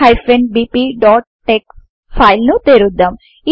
maths bpటెక్స్ file ను తెరుద్దాం